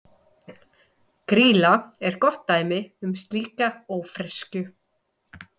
Grýla er gott dæmi um slíka ófreskju.